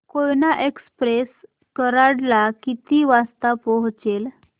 Koyna express Karad ला किती वाजता पोहचेल